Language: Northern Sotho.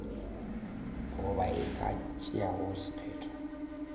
goba e ka tšeago sephetho